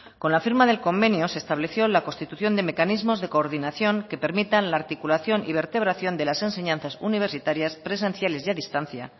con la firma del convenio se estableció la constitución de mecanismos de coordinación que permitan la articulación y vertebración de las enseñanzas universitarias presenciales y a distancia